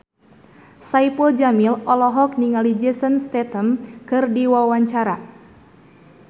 Saipul Jamil olohok ningali Jason Statham keur diwawancara